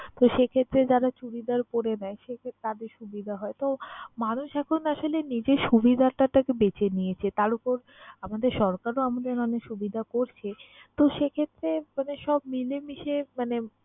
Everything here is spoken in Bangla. তো সেক্ষেত্রে যারা চুরিদার পরে নেয় সেক্ষেত্রে তাদের সুবিধা হয়। তো মানুষ এখন আসলে নিজের সুবিধাটাকে বেছে নিয়েছে। তার উপর আমাদের সরকারও আমাদের অনেক সুবিধা করছে। তো সে ক্ষেত্রে মানে সব মিলেমিশে মানে